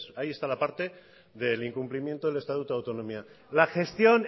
ahí está la parte del incumplimiento del estatuto de autonomía la gestión